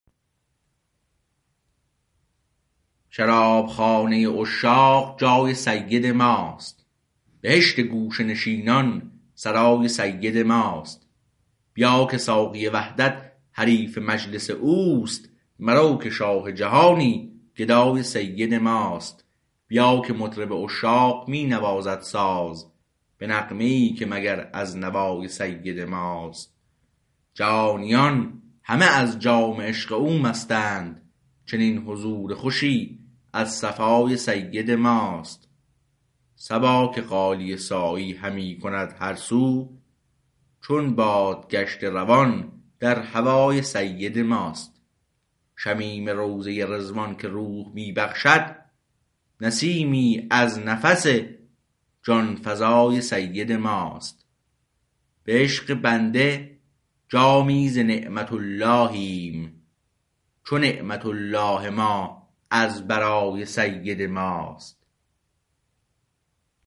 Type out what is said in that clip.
شرابخانه عشاق جای سید ماست بهشت گوشه نشینان سرای سید ماست بیا که ساقی وحدت حریف مجلس اوست مرو که شاه جهانی گدای سید ماست بیا که مطرب عشاق می نوازد ساز به نغمه ای که مگر از نوای سید ماست جهانیان همه از جام عشق او مستند چنین حضور خوشی از صفای سید ماست صبا که غالیه سایی همی کند هر سو چو باد گشته روان در هوای سید ماست شمیم روضه رضوان که روح می بخشد نسیمی از نفس جانفزای سید ماست به عشق بنده جامی ز نعمت اللیهم چو نعمت الله ما از برای سید ماست